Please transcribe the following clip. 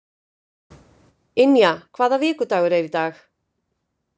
Ynja, hvaða vikudagur er í dag?